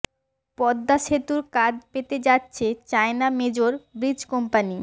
পদ্মা সেতুর কাজ পেতে যাচ্ছে চায়না মেজর ব্রিজ কোম্পানি